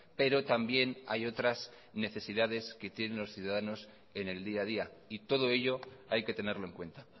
pero también hay otras necesidades que tienen los ciudadanos en el día a día y todo ello hay que tenerlo en cuenta